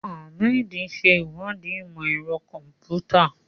Ahmed ṣe ìwádìí ìmọ̀ ẹ̀rọ kọ̀m̀pútà.